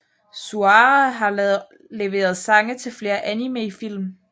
Suara har leveret sange til flere animefilm